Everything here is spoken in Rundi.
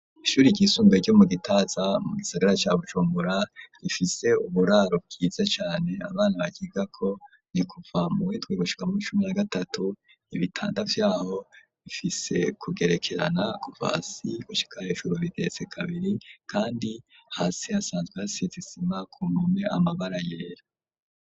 Ishure ryisumbuye ryo mu gitaza mu gisagara cya Bujumura rifise uburaro bwiza cane abana bakiga ko nikuva mu windi gushika muwicumi ya gatatu .Ibitandavyaho bifise kugerekerana kuvasi gushika heshuru bitetse kabiri kandi hasi asanzwe hasizisima ku mpome amabara yera.